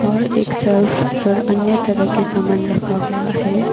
और एक सेल्फ पर अन्य तरह के सामान रखा हुआ हैं।